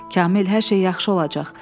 Kamil, hər şey yaxşı olacaq.